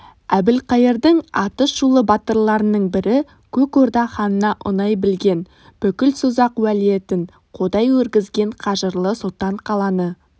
әбілқайырдың аты шулы батырларының бірі көк орда ханына ұнай білген бүкіл созақ уәлиетін қойдай өргізген қажырлы сұлтан қаланы